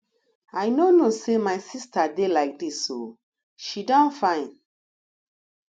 i no know say my sister dey like dis oo she don fine